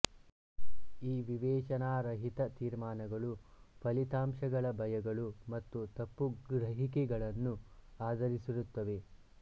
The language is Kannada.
ಈ ವಿವೇಚನಾರಹಿತ ತೀರ್ಮಾನಗಳು ಫಲಿತಾಂಶಗಳ ಭಯಗಳು ಮತ್ತು ತಪ್ಪುಗ್ರಹಿಕೆಗಳನ್ನು ಆಧರಿಸಿರುತ್ತವೆ